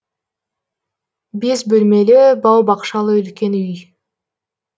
бес бөлмелі бау бақшалы үлкен үй